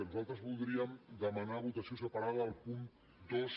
nosaltres voldríem demanar votació separada del punt dos